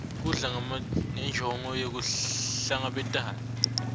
kudla ngenjongo yekuhlangabetana